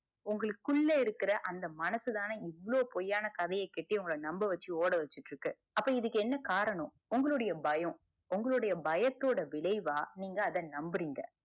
உங்களுக்கு உள்ள இருக்குற அந்த மனசுதானே இவ்ளோ பொய் ஆண கதைய கட்தி உங்கள நம்ம வச்சு ஒடவச்சுட்டு இருக்கு அப்ப இதுக்கு என்ன காரணம் உங்களுடைய பயம் உங்களுடைய பயத்தோட விலைவா நீங்க அத நம்புறீங்க